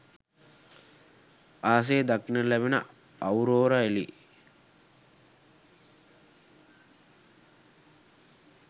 අහසේ දක්නට ලැබෙන අවුරෝරා එළි